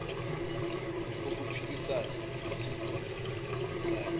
ukuphikissana nesigwebo knye